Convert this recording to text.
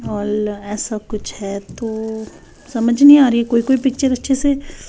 Hall ऐसा कुछ है तो ओ समझ नहीं आ रही है कोई-कोई पिक्चर अच्छे से।